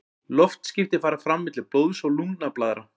loftskipti fara fram milli blóðs og lungnablaðra